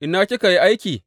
Ina kika yi aiki?